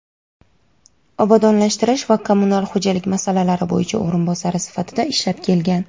obodonlashtirish va kommunal xo‘jalik masalalari bo‘yicha o‘rinbosari sifatida ishlab kelgan.